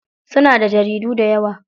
Suna da jaridu dayawa.